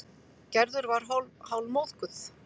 Gerður var hálfmóðguð.